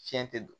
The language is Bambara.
Fiɲɛ tɛ don